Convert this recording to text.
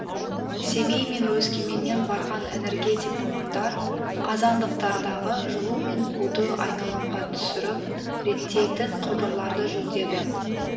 семей мен өскеменнен барған энергетик мамандар қазандықтардағы жылу мен буды айналымға түсіріп реттейтін құбырларды жөндеді